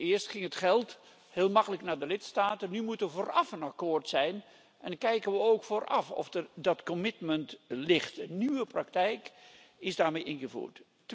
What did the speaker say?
Eerst ging het geld heel makkelijk naar de lidstaten, nu moet er vooraf een akkoord zijn en dan kijken we ook vooraf of er dat commitment ligt. Een nieuwe praktijk is daarmee ingevoerd.